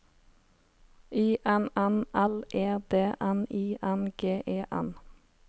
I N N L E D N I N G E N